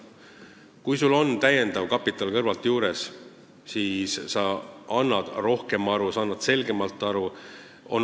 Kui sul on täiendav kapital kõrvalt juures, siis sa annad rohkem aru, annad selgemalt aru.